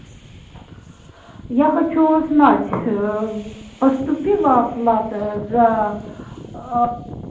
я хочу узнать ээ поступила оплата за аа